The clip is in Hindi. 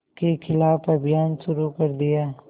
के ख़िलाफ़ अभियान शुरू कर दिया